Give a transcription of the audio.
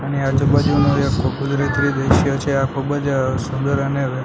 અને આજુ-બાજુમાં આખો કુદરતી દ્રશ્ય છે આ ખુબજ સુંદર અને --